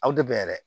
Aw de bɛn dɛ